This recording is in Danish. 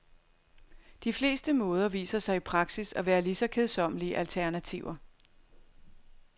De fleste måder viser sig i praksis at være lige kedsommelige alternativer.